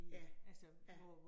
Ja, ja